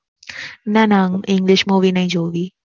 ના ના English Movie નઈ જોવી